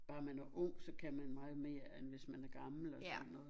Bare man er ung så kan man meget mere end hvis man er gammel og sådan noget